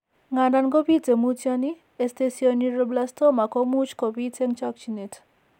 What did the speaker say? Ng'andan ko biite mutyoon, esthesioneuroblastoma komuch ko biit eng' chokchineet.